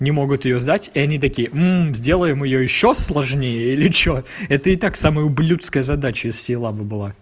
не могут её сдать и они такие сделаем её ещё сложнее или что это и так самая ублюдская задача из всей лабы была